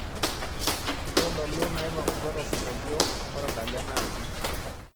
ntodolu nnaipang'utua tosingolio otadale naaji